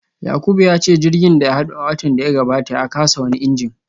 Yakubu ya ce jirgin da ya hado a watan da ya gabata ya kasa wani injin